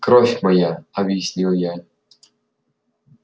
кровь моя объяснил я